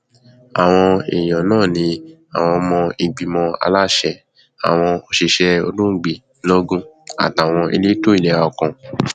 àwọn èèyàn náà ní àwọn ọmọ ìgbìmọ aláṣẹ àwọn òṣìṣẹ olóògbé lọgùn àtàwọn elétò ìlera kan